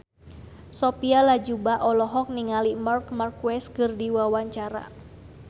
Sophia Latjuba olohok ningali Marc Marquez keur diwawancara